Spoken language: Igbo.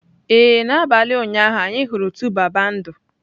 Ee, n'abalị ụnyaahụ, anyị hụrụ 2baba ndụ.